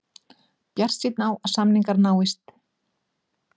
Bjartsýnn á að samningar náist